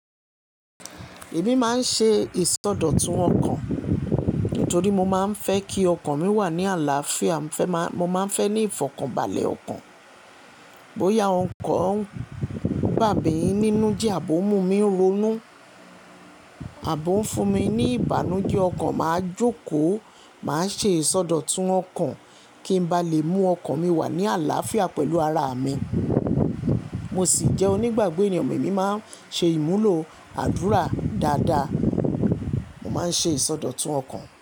Èmi máa ń ṣe ìsọdọ̀tun ọkàn nítorí mo máa ń fẹ́ kí ọkàn mi wà ní àlàáfíà. Mo máa ń fẹ́ ní ìfọ̀kànbalẹ̀ ọkàn. Bóyá ọkọ̀ ń gba'bè yín nínú jẹ́ àbọ̀ mú mi ń ronú àbọ́ ń fún mi ní ìbànújẹ́ ọkàn, màá jókòó. Màá ṣe ìsọdọ̀tun ọkàn kí n ba lè mú ọkàn mi wà ní àlàáfíà pẹ̀lú ara mi. Mo sì jẹ́ onígbàgbọ́ ènìyàn. Èmi máa ń ṣe ìmúlò àdúrà dáadáa. Mo máa ń ṣe ìsọdọ̀tun ọkàn.